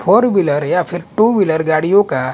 four wheeler या फिर two wheeler गाड़ियों का--